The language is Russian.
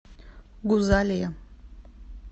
гузалия